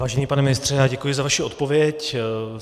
Vážený pane ministře, děkuji za vaši odpověď.